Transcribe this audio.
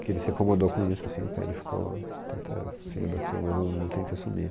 Que ele se acomodou com isso, assim, ele ficou, então tá, filho nasceu, mas eu não tenho que assumir.